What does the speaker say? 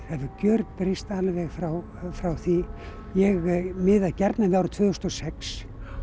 gjörbreyst alveg frá frá því ég miða gjarnan við árið tvö þúsund og sex